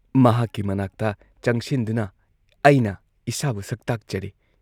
ꯃꯍꯥꯛꯀꯤ ꯃꯅꯥꯛꯇ ꯆꯪꯁꯤꯟꯗꯨꯅ ꯑꯩꯅ ꯏꯁꯥꯕꯨ ꯁꯛꯇꯥꯛꯆꯔꯦ ꯫